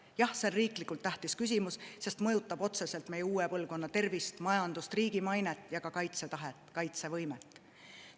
Jah, see on riiklikult tähtis küsimus, sest mõjutab otseselt meie uue põlvkonna tervist, majandust, riigi mainet ja ka kaitsetahet, kaitsevõimet.